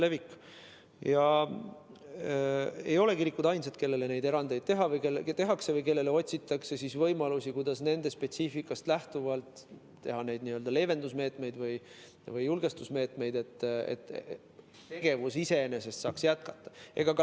Kirikud ei ole ainsad, kellele erandeid tehakse või kellele otsitakse võimalusi, kuidas nende spetsiifikast lähtuvalt võtta leevendusmeetmeid või julgestusmeetmeid, et saaks tegevust jätkata.